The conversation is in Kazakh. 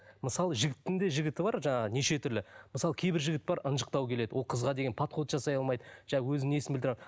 мысалы жігіттің де жігіті бар жаңа неше түрлі мысалы кейбір жігіт бар ынжықтау келеді ол қызға деген подход жасай алмайды өзінің несін білдіре